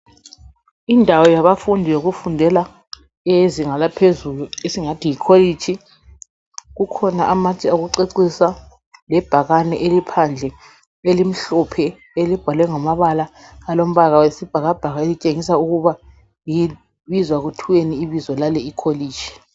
Indawo yabafundi yokufundela eyezinga laphezulu esingathi yikolitshi. Kukhona amatshe okucecisa lebhakane eliphandle elimhlophe elibhalwe ngamabala alombala wesibhakabhaka elitshengisa ukuba libizwa kuthweni ibizo lale ikholitshi.